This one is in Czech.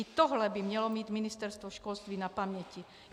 I tohle by mělo mít Ministerstvo školství na paměti.